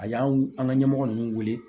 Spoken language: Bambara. A y'an w an ka ɲɛmɔgɔ nunnu weele